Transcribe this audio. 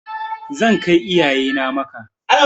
Zan kai iyaye na Makka.